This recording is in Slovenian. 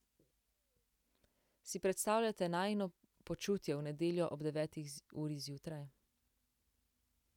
Si predstavljate najino počutje v nedeljo ob deveti uri zjutraj?